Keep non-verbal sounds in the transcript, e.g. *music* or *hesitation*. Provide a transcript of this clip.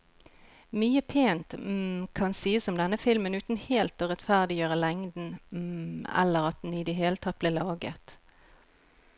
Mye pent *hesitation* kan sies om denne filmen uten helt å rettferdiggjøre lengden *hesitation* eller at den i det hele tatt ble laget.